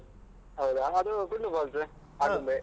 ಹೌದಾ. ಅದೂ ಕೂಡ್ಲು falls ಆಗುಂಬೆ.